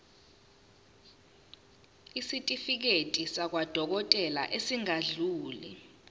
isitifiketi sakwadokodela esingadluli